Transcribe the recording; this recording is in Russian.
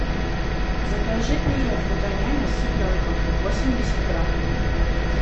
закажи пюре фрутоняня с цыпленком восемьдесят грамм